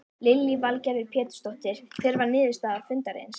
Lillý Valgerður Pétursdóttir: Hver var niðurstaða fundarins?